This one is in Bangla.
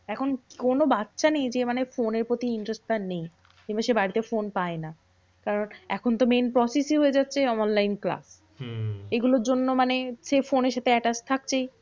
এখন কোনো বাচ্চা নেই যে, ফোনের প্রতি interest তার নেই। কিংবা সে বাড়িতে ফোন পায় না। কারণ এখন তো main process ই তো হয়ে যাচ্ছে online class. এইগুলোর জন্য মানে সে ফোনের সাথে attach থাকছেই।